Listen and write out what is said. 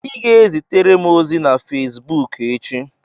Ị ga-ezitere m ozi na Fezbuuku echi.